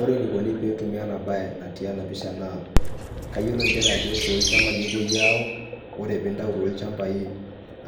Ore enikoni petumi enabae natii enapisha naa, kayiolo njere ajo tolchambai epoi ayau, ore pintau tolchambai